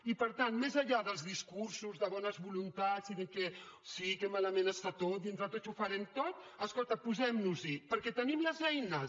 i per tant més enllà dels discursos de bones voluntats i de sí que malament està tot i entre tots ho farem tot escolta posem nos hi perquè tenim les eines